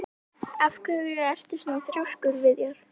Af hverju ertu svona þrjóskur, Viðjar?